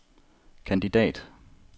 kandidat